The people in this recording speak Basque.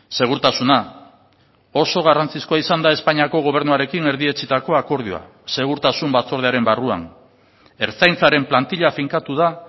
segurtasuna oso garrantzizkoa izan da espainiako gobernuarekin erdietsitako akordioa segurtasun batzordearen barruan ertzaintzaren plantilla finkatu da